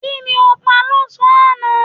Kí ni o pa lọ́sàn-án aná?